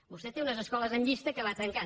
vostè té unes escoles en llista que va tancant